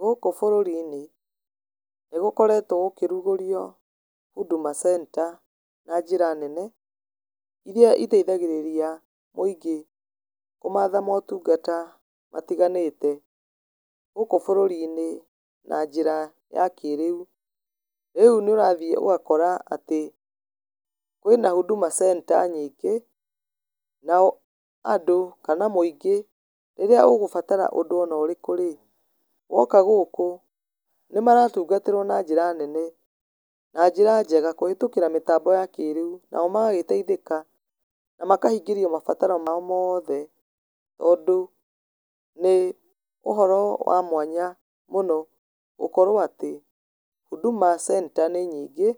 Gũkũ bũrũri-inĩ, nĩ gũkoretwo gũkĩrugũrio Huduma Center na njĩra nene, irĩa iteithagĩrĩria mũingĩ kũmatha motungata kũndũ gũtganĩte gũkũ bũrũri-inĩ na njĩra ya kĩrĩu. Rĩu nĩ ũrathiĩ ũgakora atĩ Huduma Centre nyingĩ, nao andũ, kana mũingĩ rĩrĩa ũgũbatara ũndũ onorĩkũ rĩ, woka gũkũ, nĩ maratungatĩrwo na njĩra nene, na njĩra njega kũhetukĩra mĩtambo ya kĩrĩu, nao magagĩteithika, na makahingĩrio mabataro mao mothe tondũ nĩ ũhoro wa mwanya mũno gũkorwo atĩ, Huduma Centre nĩ nyingĩ,